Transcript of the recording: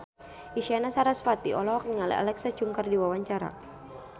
Isyana Sarasvati olohok ningali Alexa Chung keur diwawancara